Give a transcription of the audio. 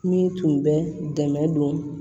Min tun bɛ dɛmɛ don